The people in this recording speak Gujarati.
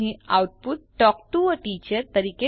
અહીં output talk to a teacher